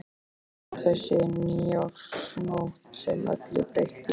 En þá kom þessi nýársnótt sem öllu breytti.